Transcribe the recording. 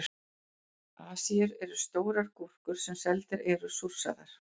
Asíur eru stórar gúrkur sem seldar eru súrsaðar.